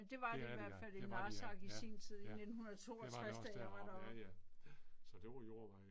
Det er det ja, det var det ja, ja, ja. Det var det også da jeg var oppe, ja ja. Ja. Så det var jordveje